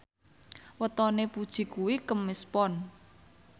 wetone Puji kuwi Kemis Pon